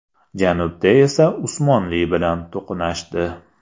Janubda esa Usmonli bilan to‘qnashdi.